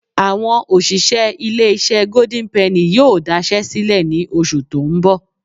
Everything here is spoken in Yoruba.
Àwọn òṣìṣẹ́ ilé-iṣẹ́ Golden penny yóò daṣẹ́ sílẹ̀ ní oṣù tó ń bọ̀